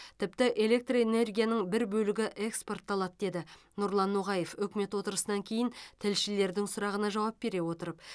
тіпті электр энергияның бір бөлігі экспортталады деді нұрлан ноғаев үкімет отырысынан кейін тілшілердің сұрағына жауап бере отырып